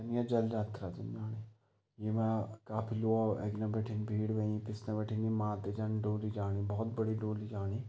जल यात्रा च जाणी येमा काफी लोग अग्ने बैठी भीड हुयी पिछने बटी मात जन डोली जाणी भौत बडी डोली जाणी।